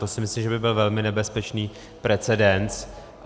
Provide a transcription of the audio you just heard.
To si myslím, že by byl velmi nebezpečný precedens.